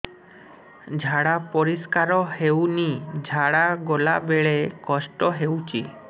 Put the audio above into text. ଝାଡା ପରିସ୍କାର ହେଉନି ଝାଡ଼ା ଗଲା ବେଳେ କଷ୍ଟ ହେଉଚି